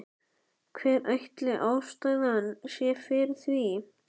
Hver ætli ástæðan sé fyrir því?